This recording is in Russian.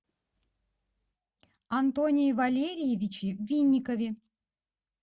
антоне валерьевиче винникове